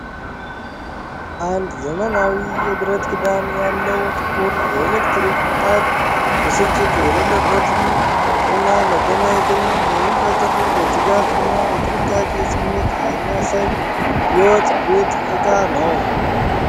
አንድ ዘመናዊ የብረት ክዳን ያለው ጥቁር የኤሌክትሪክ ምጣድ ብስጭት የሌለበትን እና መደነቅን የሚፈጥር የትጋት እና የጥንቃቄ ስሜት የሚያሳይ የወጥ ቤት ዕቃ ነው።